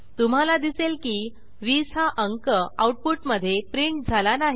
तुम्हाला दिसेल की 20 हा अंक आऊटपुटमधे प्रिंट झाला नाही